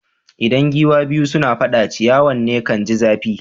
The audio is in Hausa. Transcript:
Idan giwa biyu suna fada, ciyawan ne kan ji zafi.